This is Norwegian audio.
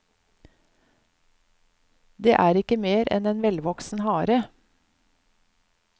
Det er ikke mer enn en velvoksen hare.